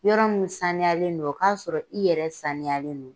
Yɔrɔ min saniyalen do o k'a sɔrɔ i yɛrɛ saniyalen do.